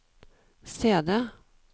CD